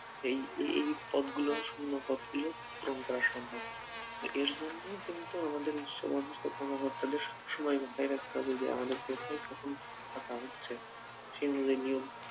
এই এই এইপদগুলো শূন্য পদগুলো পূরণ করা সম্ভব এর জন্যও কিন্তু আমাদের উচ্চপদস্থ কর্মকর্তাদের সবসময় মাথায় রাখতে হবে যে আমাদের কোথায় কখন ফাঁকা হচ্ছে সেই অনুযায়ী নিয়ম